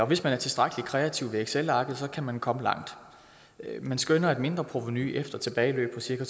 hvis man er tilstrækkelig kreativ med excelarket kan man komme langt man skønner et mindreprovenu efter tilbageløb på cirka